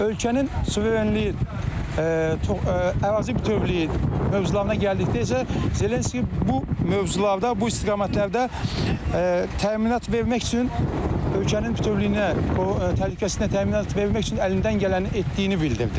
Ölkənin suverenliyi, ərazi bütövlüyü mövzularına gəldikdə isə Zelenski bu mövzularda, bu istiqamətlərdə təminat vermək üçün, ölkənin bütövlüyünə, təhlükəsizliyinə təminat vermək üçün əlindən gələni etdiyini bildirdi.